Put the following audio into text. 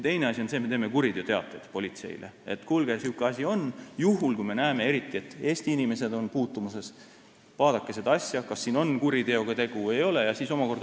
Teine asi on see, et me teeme kuriteoteateid politseile – eriti juhul, kui me näeme, et on puutumus Eesti inimestega –, et kuulge, selline asi on, vaadake, kas siin on tegu kuriteoga või ei ole.